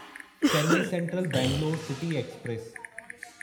Chennai central Bangalore city express